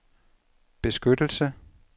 beskyttelse